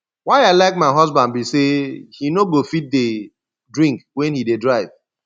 why i i like my husband be say he no go fit dey drink wen he dey drive